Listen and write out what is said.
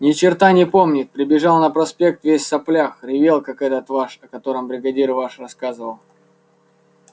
ни черта не помнит прибежал на проспект весь в соплях ревел как этот ваш о котором бригадир ваш рассказывал